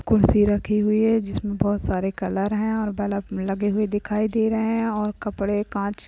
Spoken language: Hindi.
कुर्सी रखी हुई है। जिसमें बहुत सारे कलर है और बल्ब लगे हुए दिखाई दे रहे हैं और कपड़े कांच --